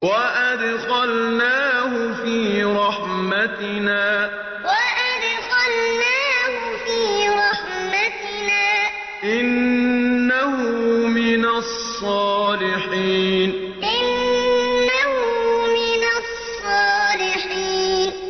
وَأَدْخَلْنَاهُ فِي رَحْمَتِنَا ۖ إِنَّهُ مِنَ الصَّالِحِينَ وَأَدْخَلْنَاهُ فِي رَحْمَتِنَا ۖ إِنَّهُ مِنَ الصَّالِحِينَ